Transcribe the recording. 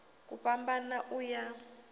ku a fhambana u ya